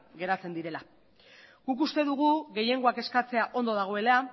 geratzen direla guk uste dugu gehiengoak eskatzea ongi dagoela